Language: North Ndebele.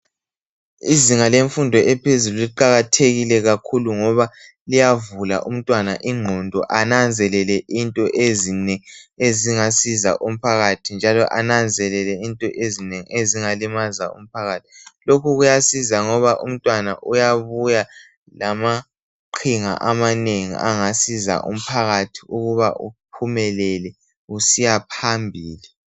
Izinga lemfundo ephezulu liqakathekile kakhulu ngoba liyavula umntwana ingqondo ananzelele into ezinengi ezingasiza umphakathi njalo ananzelele into ezinengi ezingalimaza umphakathi. Lokhu kuyasiza ngoba umntwana uyabuya lamaqhinga amanengi angasiza umphakathi ukuba uphumelele usiya phambili.